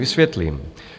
Vysvětlím.